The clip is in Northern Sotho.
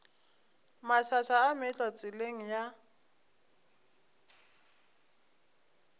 mašaša a meetlwa tseleng ya